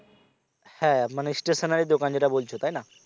হ্যাঁ মানে stationary দোকান যেটা বলছো তাই না